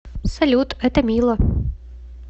салют это мило